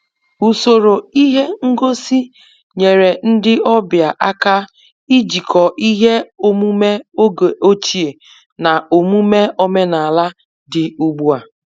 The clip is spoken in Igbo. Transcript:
Usoro ihe ngosi nyere ndị ọbịa aka ijikọ ihe omume oge ochie na omume omenala dị ugbu a